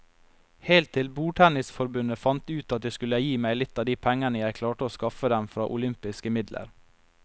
Helt til bordtennisforbundet fant ut at de skulle gi meg litt av de pengene jeg klarte å skaffe dem fra olympiske midler.